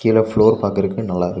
கீழ ஃப்ளோர் பாக்குறதுக்கு நல்லா இருக்கு.